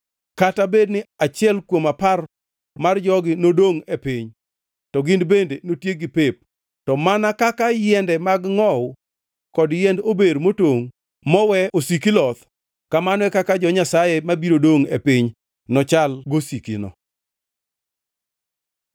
Kata bedni achiel kuom apar mar jogi nodongʼ e piny, to gin bende notiekgi pep. To mana kaka yiende mag ngʼowu kod yiend ober motongʼ mowe osiki loth, kamano e kaka jo-Nyasaye mabiro dongʼ e piny nochal gosikino.”